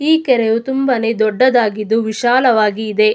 ಈ ಕೆರೆಯು ತುಂಬಾನೇ ದೊಡ್ಡದಾಗಿದ್ದು ತುಂಬಾನೇ ವಿಶಾಲವಾಗಿ ಇದೆ.